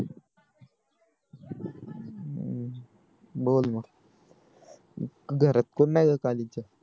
बोल मग घरात कोण नाही खाली च्या